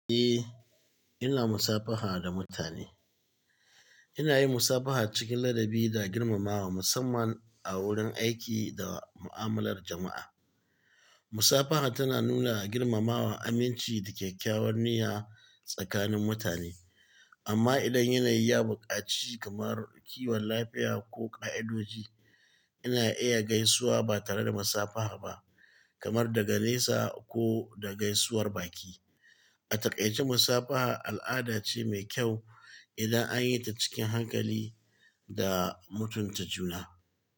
Eh, ina musafaha da mutane. Ina yin musafaha cikin ladabi da girmamawa, musamman a wurin aiki da mu'amalar jama'a. Musafaha tana nuna girmamawa, aminci da kyakkyawar niyya tsakanin mutane. Amma idan yanayi ya buƙaci kamar kiwon lafiya ko ƙa'idoji, ina iya gaisuwa ba tare da musafaha ba, kamar daga nesa ko da gaisuwar baki. A takaice, musafaha al'ada ce mai ƙyau idan an yi ta cikin hankali da mutunta juna.